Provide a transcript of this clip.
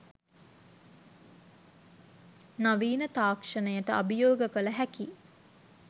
නවීන තාක්ෂණයට අභියෝග කළ හැකි